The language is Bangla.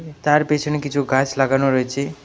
তার পেছনে কিছু গাছ লাগানো রয়েছে.